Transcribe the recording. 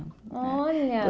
Olha!